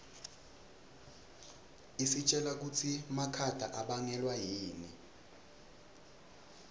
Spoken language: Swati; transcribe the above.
isitjela kutsi makhata abangelwa yini